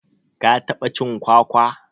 ka taɓa cin kwakwa?